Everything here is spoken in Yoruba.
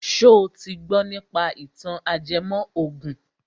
Ṣo ti gbọ nípa ìtàn ajẹmọ ògùn?